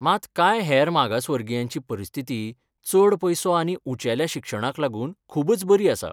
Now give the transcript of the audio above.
मात कांय हेर मागासवर्गीयांची परिस्थिती चड पयसो आनी उंचेल्या शिक्षणाक लागून खूबच बरी आसा.